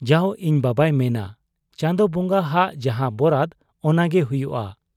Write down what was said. ᱼᱼᱡᱟᱣ ᱤᱧ ᱵᱟᱵᱟᱭ ᱢᱮᱱᱟ ᱪᱟᱸᱫᱚ ᱵᱚᱝᱜᱟ ᱦᱟᱜ ᱡᱟᱦᱟᱸ ᱵᱚᱨᱟᱫᱽ ᱚᱱᱟᱜᱮ ᱦᱩᱭᱩᱜ ᱟ ᱾